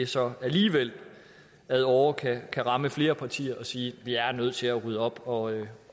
så alligevel ad åre kan ramme flere partier og sige at vi er nødt til at rydde op og